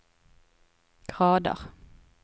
grader